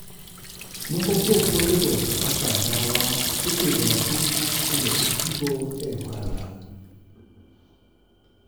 Moko kuom puothego, kaka ndawa, ipidho ahinya mondo otigo e ohala.